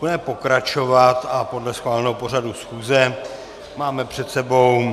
Budeme pokračovat a podle schváleného pořadu schůze máme před sebou